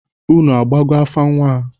Unu agbago afa nnwa a?